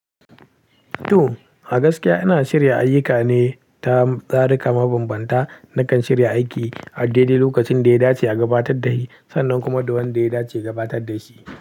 To, a gaskiya ina shirya ayyuka ne ta tsari ka mabambanta na kan shirya aiki a daidai lokacin da ya dace a gabatar da shi, sannan kuma da wanda ya dace ya gabatar da shi.